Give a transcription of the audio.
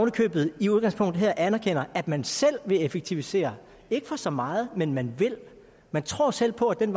i købet i udgangspunktet her anerkender at man selv vil effektivisere ikke for så meget men man vil man tror selv på at den